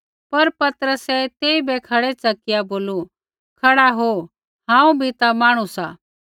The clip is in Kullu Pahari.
पर पतरसै तेइबै खड़ै च़किआ बोलू खड़ा हो हांऊँ बी ता मांहणु सा